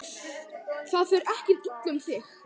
Það fer ekkert illa um þig?